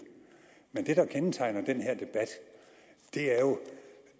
men det der kendetegner den her debat er jo